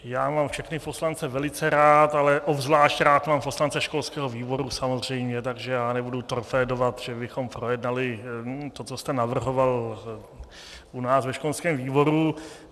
Já mám všechny poslance velice rád, ale obzvláště rád mám poslance školského výboru samozřejmě, takže já nebudu torpédovat, že bychom projednali to, co jste navrhoval u nás ve školském výboru.